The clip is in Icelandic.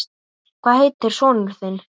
Hvað heitir sonur þinn?